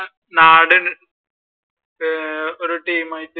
നാട് അഹ് ഒരു ടീമായിട്ട്